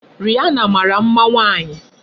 Rihana mara mma nwaanyị.